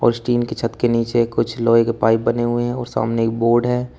इस टिन के छत के नीचे कुछ लोहे के पाइप बने हुए हैं और सामने एक बोर्ड है।